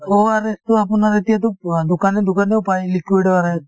ORS তো আপোনাৰ এতিয়াতো দোকানে দোকানেও পাই liquid ORS